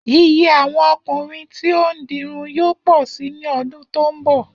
Iye àwo̩n o̩kùnrin tí ó ń dirun yóò pò̩ si ní o̩dún tó ń bò̩